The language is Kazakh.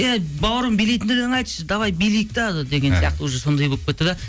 әй бауырым билейтіндей айтшы давай билейік те деген сияқты уже сондай болып кетті де